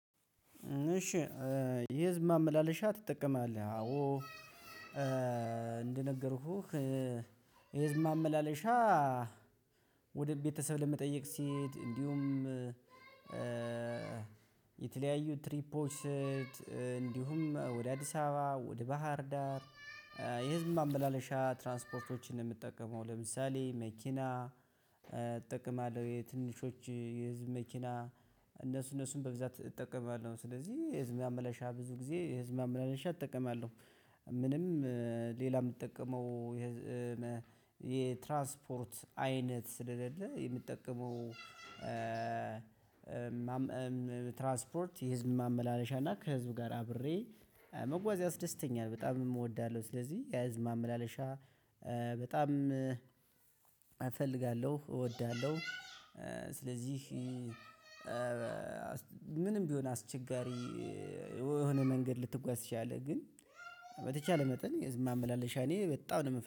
እሺ። የህዝብ ማመላለሻ ትጠቀማለህ? አዎ። እንደነገርኩህ የህዝብ ማመላለሻ። ወደ ቤተሰብ ለመጠየቅ ሲሄድ እንዲሁም የተለያዩ ትሪፖች ስሄድ እንዲሁም ወደ አዲስ አበባ ወደ ባህር ዳር የህዝብ ማመላለሻ ትራንስፖርቶችን ነው የምጠቀመው። ለምሳሌ መኪና እጠቀማለሁ። የ ትንንሾች የህዝብ መኪና እነሱ እነሱን በብዛት እጠቀማለሁ። ስለዚህ ህዝብ ማመለሻ ብዙ ጊዜ ህዝብ ማመላለሻ እጠቀማለሁ። ምንም ሌላ ምትጠቀመው የህዝ የትራንስፖርት አይነት ስለሌለ የምትጠቀመው። ትራንስፖርት የህዝብ ማመላለሻ እና ከህዝብ ጋር አብሬ መጓዝ ያስደስተኛል በጣምም እወዳለሁ። ስለዚህ የህዝብ ማመላለሻ በጣም እፈልጋለሁ እወዳለሁ። ስለዚህ ምንም ቢሆን አስቸጋሪ የሆነ መንገድ ልትጓዝ ትችላለህ። ግን በተቻለ መጠን የህዝብ ማመላለሻ እኔ በጣም ነው ምፈ